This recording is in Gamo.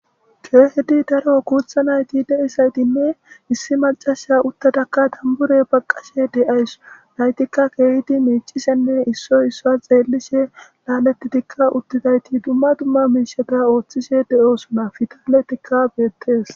Keehidi daro kuutha nayti deisaytinne issi macasha uttatakka dambure baqqashe de'ays naytikka keehidi meecisenne issoy issoa xeellishe laaletitikka uttizayti dumma dumma miishata ooththishe de'osuna fitaletikka beettees.